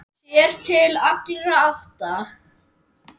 Sér til allra átta.